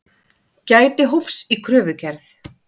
Gæti hófs í kröfugerð